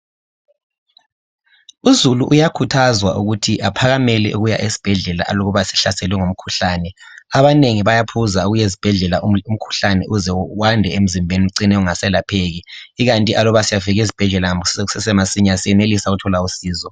Uzulu uyakhazwa ukuthi aphakamele ukuya esibhedlela aluba esehlaselwe ngumkhuhlane abanengi bayaphuza ukuyezibhedlela umkhuhlane uze wande emzimbeni ucine ungaselapheki ikanti aluba siyafika ezibhedlela kusesemasinya siyenelisa ukuthola usizo.